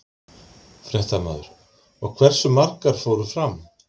Fréttamaður: Og hversu margar fóru fram?